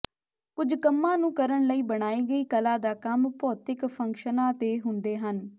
ਕੁਝ ਕੰਮਾਂ ਨੂੰ ਕਰਨ ਲਈ ਬਣਾਈ ਗਈ ਕਲਾ ਦਾ ਕੰਮ ਭੌਤਿਕ ਫੰਕਸ਼ਨਾਂ ਦੇ ਹੁੰਦੇ ਹਨ